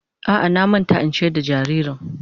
A'a na manta in ciyar da jaririn.